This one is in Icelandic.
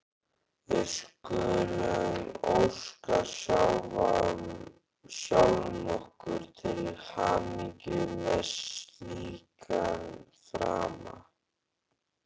Við skulum óska sjálfum okkur til hamingju með slíkan frama!